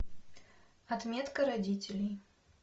отметка родителей